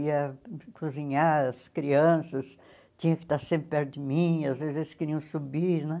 Ia cozinhar as crianças, tinha que estar sempre perto de mim, às vezes eles queriam subir né.